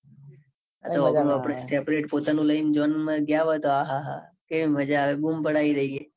separate પોતાનું લઈને zone માં ગયા હોઈએ તો કેવી મજા આવે. બૂમ પડાવી દઈએ.